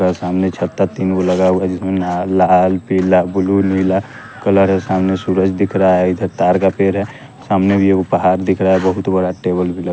ये सामने छाता तीनगो लगा हुआ है जिसमें नाल लाल पीला बुलु नीला कलर है सामने सूरज दिख रहा है इधर तार का पेड़ है सामने भी एगो पहाड़ दिख रहा है बहुत बड़ा टेबल भी ल --